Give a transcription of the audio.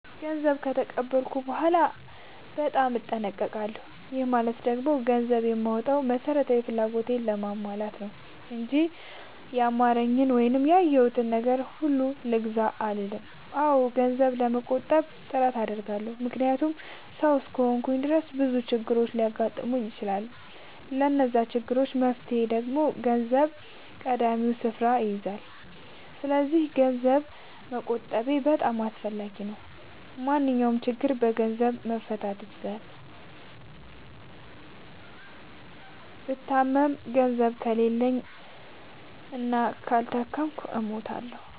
ገንዘብ ከተቀበልኩ በኋላ በጣም እጠነቀቃለሁ። ይህ ማለት ደግሞ ገንዘብ የማወጣው መሠረታዊ ፍላጎቴን ለማሟላት ነው እንጂ ያማረኝን ወይም ያየሁትን ነገር ሁሉ ልግዛ አልልም። አዎ ገንዘብ ለመቆጠብ ጥረት አደርጋለሁ። ምክንያቱም ሠው እስከሆንኩኝ ድረስ ብዙ ችግሮች ሊያጋጥሙኝ ይችላሉ። ለዛ ችግር መፍትሄ ደግሞ ገንዘብ ቀዳሚውን ስፍራ ይይዛል። ሰስለዚክ ገንዘብ መቆጠቤ በጣም አስፈላጊ ነው። ማንኛውንም ችግር በገንዘብ መፍታት ይቻላል። ብታመም ገንዘብ ከሌለኝ እና ካልታከምኩ እሞታሁ።